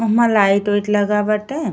ओहमा light ओइट लगा बाटे।